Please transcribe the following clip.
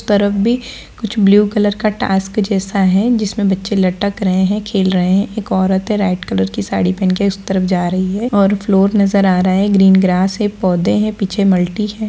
तरफ भी कुछ ब्लू कलर का टास्क जैसा है जिसमें बच्चे लटक रहें हैं खेल रहें हैं। एक औरत है रेड कलर कि साड़ी पहन कर उसी तरफ जा रही है और फ्लोर नजर आ रहा है ग्रीन ग्रास हैं पोधे हैं पीछे मल्टी है।